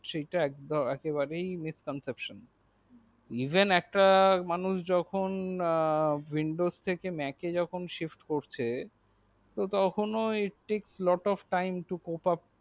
সেইটাই একেবারেই pop of miss conseotion even একটা মানুষ windows থেকে mac এ যখন save করছে তো তখন ওই tik flot of time to cop miss consepsion